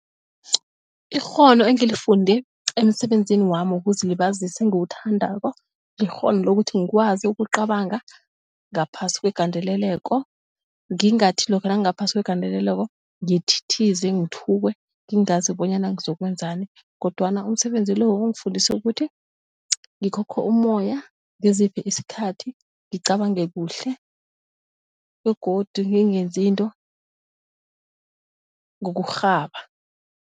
Ikghono engilifunde emsebenzini wami wokuzilibazisa engiwuthandako likghono lokuthi ngikwazi ukucabanga ngaphasi kwegandeleleko ngingathi lokha nangaphasi kwegandeleleko ngithithize ngthukwe ngingazi bonyana ngizokwenzani kodwana umsebenzi lo ungifundise ukuthi ngikhokhe umoya ngiziphe isikhathi ngicabange kuhle begodu ngingenzi into ngokurhaba.